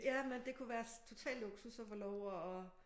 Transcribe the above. Jamen det kunne være total luksus at få lov at